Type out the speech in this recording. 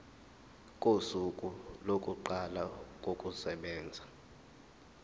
kosuku lokuqala kokusebenza